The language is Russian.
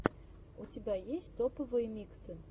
у тебя есть топовые миксы